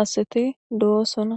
aseti do'osona.